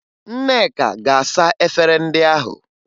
Nneka ga-asa efere ndị ahụ